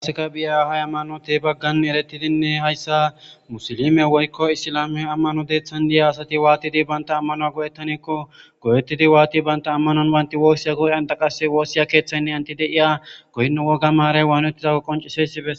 Qaseka biyahay hayammanote baggan erettidinne hayssa musilime woykko isilame ammano deeththan di7ya asati waatidi banta ammanoa go'ettanikko go7ettidi waati banta ammanon waynti woossiya goodanta qasse woossiya keeththaynne anti de7iya goynno woga maaray waanettidako qoncisi beseetes